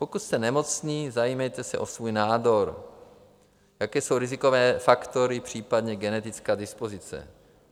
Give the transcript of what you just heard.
Pokud jste nemocní, zajímejte se o svůj nádor: jaké jsou rizikové faktory, případně genetická dispozice;